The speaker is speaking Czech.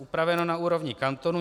Upraveno na úrovni kantonů.